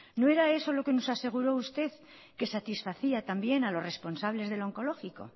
no era eso lo que nos aseguró usted que satisfacía también a los responsables del onkologikoa